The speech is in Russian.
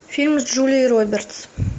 фильм с джулией робертс